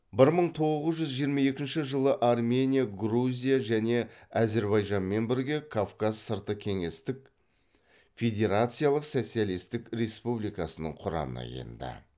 бір мың тоғыз жүз жиырма екінші жылы армения грузия және әзірбайжанмен бірге кавказ сырты кеңестік федерациялық социалистік республикасының құрамына енді